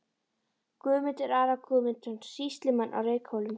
Guðmundar, Ara Guðmundsson, sýslumann á Reykhólum.